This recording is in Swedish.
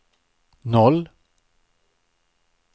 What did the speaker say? noll